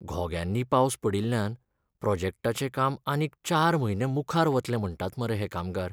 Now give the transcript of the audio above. घोग्यांनी पावस पडिल्ल्यान प्रॉजेक्टाचें काम आनीक चार म्हयने मुखार वतलें म्हणटात मरे हे कामगार.